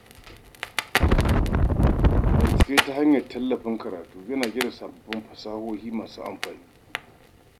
Bincike ta hanyar tallafin karatu yana gina sabbin fasahohi masu amfani.